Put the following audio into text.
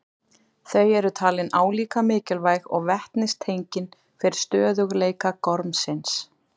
Þau eru talin álíka mikilvæg og vetnistengin fyrir stöðugleika gormsins.